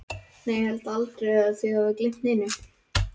Nei, ég hélt aldrei að þið hefðuð gleymt neinu.